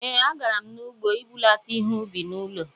Ee, a garam n'ugbo ibulata ihe-ubi n'ụlọ